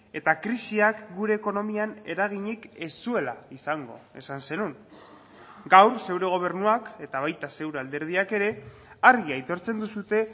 eta krisiak gure ekonomian eraginik ez zuela izango esan zenuen gaur zure gobernuak eta baita zure alderdiak ere argi aitortzen duzue